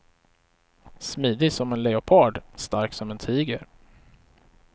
Smidig som en leopard, stark som en tiger.